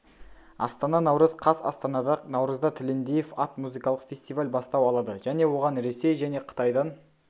астана наурыз қаз астанада наурызда тілендиев ат музыкалық фестиваль бастау алады және оған ресей және қытайдан